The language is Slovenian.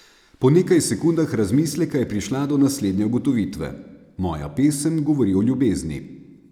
Po nekaj sekundah razmisleka je prišla do naslednje ugotovitve: "Moja pesem govori o ljubezni.